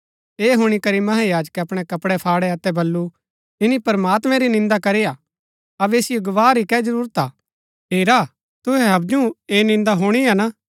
ऐह हुणी करी महायाजकै अपणै कपड़ै फाड़ै अतै बल्लू इन्‍नी प्रमात्मैं री निन्दा करी हा अबै असिओ गवाह री कै जरूरत हा हेरा तुहै हवजु ऐह निन्दा हुणी हा ना